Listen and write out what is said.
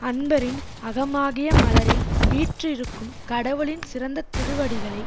அன்பரின் அகமாகிய மலரில் வீற்றிருக்கும் கடவுளின் சிறந்த திருவடிகளை